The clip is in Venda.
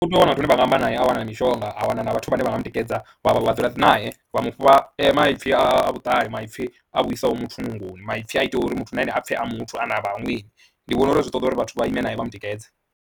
Utea u wana vhathu vhane vha nga amba naye, a wana na mishonga, a wana na vhathu vhane vha nga mu tikedza vha vha vha dzula nae, vha mu fha maipfhi a vhuṱali maipfhi a vhuisa muthu , maipfhi a ita uri muthu na ene a pfhe a muthu ane a vha na vhaṅweni. Ndi vhona uri zwi ṱoḓa uri vhathu vha ime nae vha mu tikedze.